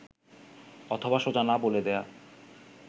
অথবা সোজা না বলে দেওয়া